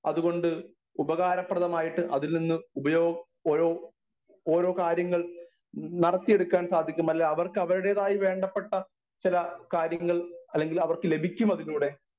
speaker 1 അതുകൊണ്ട് ഉപകാരപ്രദമായിട്ട് അതിൽനിന്ന് ഉപയോ ഓരോ ഓരോകാര്യങ്ങൾ നടത്തി എടുക്കാൻ സാധിക്കുമല്ലേ അവർക്ക് അവരുടേതായ വേണ്ടപ്പെട്ട ചില കാര്യങ്ങൾ അല്ലെങ്കിൽ അവർക്ക് ലഭിക്കും അതിലൂടെ